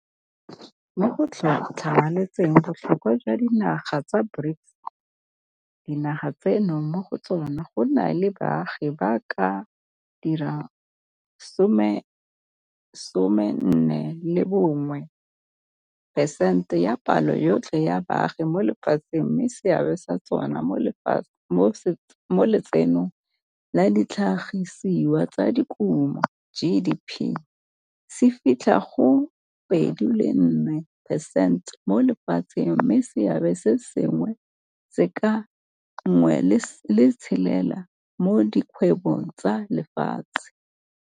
Mo go tlhamalatseng botlhokwa jwa dinaga tsa BRICS, dinaga tseno mo go tsona go na le baagi ba ka dira some, some a 41 percente ya palo yotlhe ya baagi mo lefatsheng mme seabe sa tsona mo Letsenong la Ditlhagisiwa tsa Dikuno, GDP, se fitlha go 24 percent mo lefatsheng mme seabe se sengwe ke sa 16 percent mo di kgwebong tsa lefatshe.